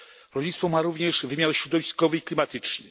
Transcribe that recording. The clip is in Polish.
Rolnictwo ma również wymiar środowiskowy i klimatyczny.